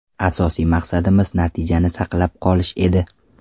Asosiy maqsadimiz natijani saqlab qolish edi.